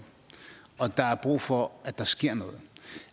og der er brug for at der sker noget